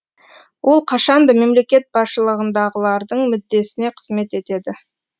ол қашанда мемлекет басшылығындағылардың мүддесіне қызмет етеді